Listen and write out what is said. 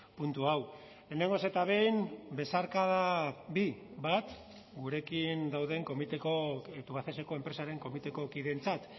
puntu hau lehenengoz eta behin besarkada bi bat gurekin dauden tubacexeko enpresaren komiteko kideentzat